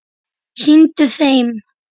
Sýndu þeim!